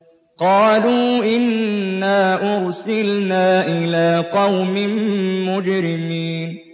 قَالُوا إِنَّا أُرْسِلْنَا إِلَىٰ قَوْمٍ مُّجْرِمِينَ